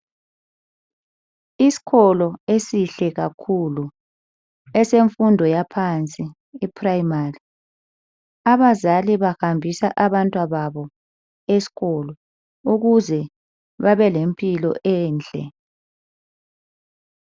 Iskolo esihle kahlulu esemfundo yaphansi iprimary. Abazali bahambisa abantwababo eskolo ukuze babelempilo enhle.